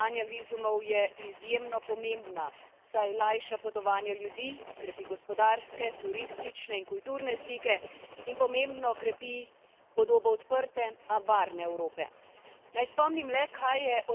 Evropska politika dodeljevanja vizumov je izjemno pomembna, saj lajša potovanja ljudi, krepi gospodarske, turistične in kulturne stike in pomembno krepi podobo odrte, a varne Evrope.